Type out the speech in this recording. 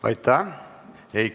Aitäh!